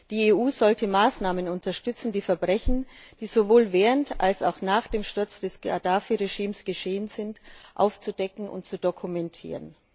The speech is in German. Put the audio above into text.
Die EU sollte Maßnahmen unterstützen, die Verbrechen, die sowohl während als auch nach dem Sturz des Gaddafi Regimes geschehen sind, aufzudecken und zu dokumentieren.